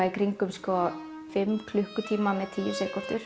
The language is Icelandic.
í kringum fimm klukkutíma með tíu sekúndur